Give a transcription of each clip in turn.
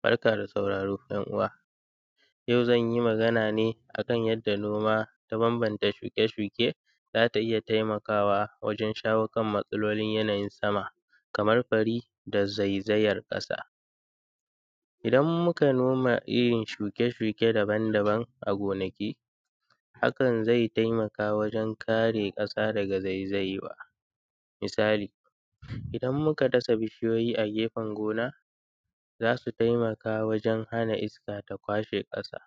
Barka da sauraro ‘yan uwa, yau zan yi magana ne a kan yadda noma ta banbanta shuke-shuke. Za ta iya taimakawa wajen shawo kan yanayin matsalolin sama, kamar fari da zaizayar ƙasa. Idan muka noma irin shuke-shuke daban-daban a gonaki hakan zai taimaka wajen kare ƙasa daga zaizayewa. Misali idan muka dasa bishiyoyi a gefen gona, za su taimaka wajen hana iska ta kwashe ƙasa.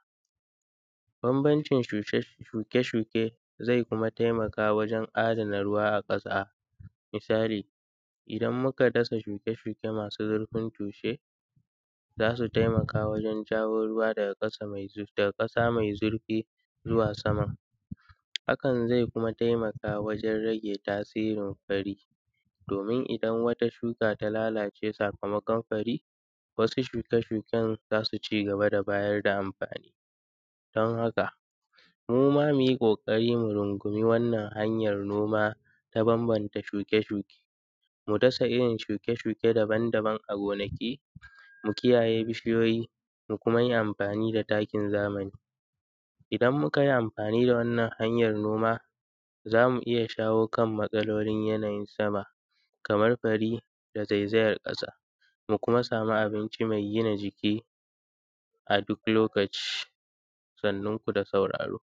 Banbantcin shuke-shuke kuma zai taimaka wajen adana ruwa a ƙasa, misali idan muka dasa shuke-shuke masu zurfin tushe, za su taimaka wajen jawo ruwa daga ƙasa mai zurfi zuwa sama. Hakan kuma zai rage tasirin fari domin idan wata shuka ta lalace sakamakon fari, wasu shuke-shuke za su cigaba da bayar da amfani. Don haka mu ma mu yi ƙoƙari mu rungumi wannan hanyar noma noma ta banbanta shuke-shuke. Mu dasa yin shuke-shuke daban-daban a gonaki, mu kiyaye bishiyoyi, mu kuma yi amfani da takin zamani. Idan mu ka yi amfani da wannan hanyar noma, za mu iya shawo kan matsalolin yanayin sama, kamar fari da zaizayan ƙasa. Mu kuma samu abinci mai gina jiki a duk lokaci. sannun ku da sauraro.